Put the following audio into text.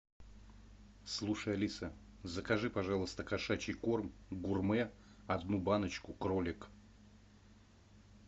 слушай алиса закажи пожалуйста кошачий корм гурме одну баночку кролик